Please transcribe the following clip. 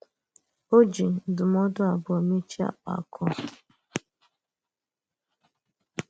Ọ́ jì ndụ́mọdụ̀ abụọ̀ mechiè àkpàkụ̀ a.